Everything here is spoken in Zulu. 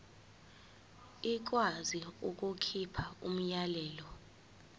ikwazi ukukhipha umyalelo